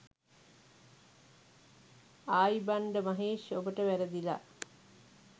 ආයිබංඩ මහේෂ් ඔබට වැරදිලා.